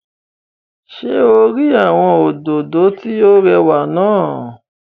Ṣé o rí àwọn òdòdó tí ó rẹwà náà?